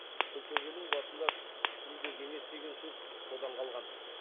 күлтөбенің басында күнде кеңес деген сөз содан қалған